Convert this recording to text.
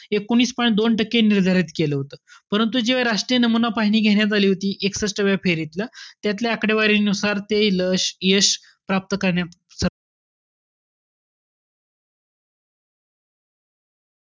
एकोणीस point दोन टक्के निर्धारित केलं होतं. परंतु जेव्हा राष्ट्रीय नमुना पाहणी घेण्यात आली होती, एक्सष्टाव्या फेरीतील आकडेवारीनुसार ते ल~ यश प्राप्त करण्यात,